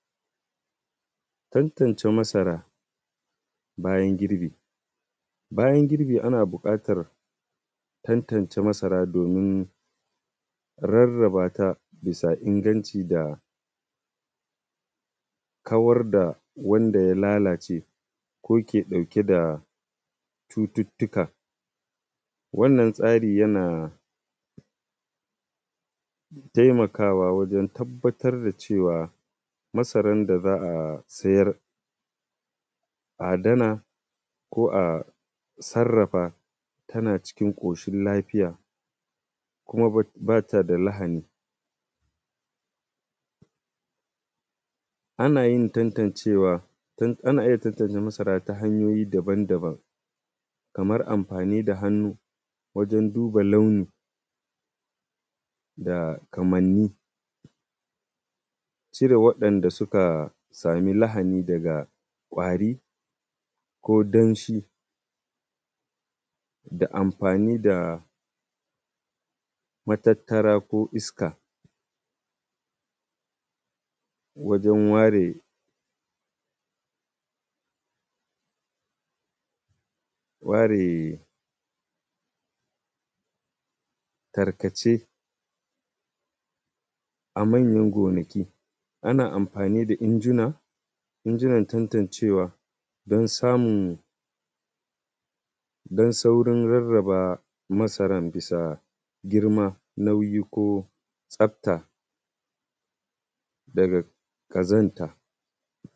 Tattance masara bayan girbi. Bayan girbi ana buƙatar tantance masara domin rarraba ta bisa inganci da kawar da wanda ya lalace, ko ke ɗauke da cuttutuka. Wannan tsari yana taimaka wa wajan tabbatar da cewa masaran da za a da sayar, adana, ko a sarrafa tana cikin ƙoshin lafiya, kuma ba ta da lahani. Ana yin tantancewa tun ana iya tantance masara ta hanyoyi daban daban, kamar amfani da hannu wajan duba launin kamanni, cire wa'inda suka sami lahani daga ƙwari, ko danshi, da amfani da matattara ko iska wajan ware tarkace. A manyan gonakin ana amfani da injunan tattancewa don samu don saurin rarraba masaran bisa girma, nauyi, ko tsafta daga ƙazanta.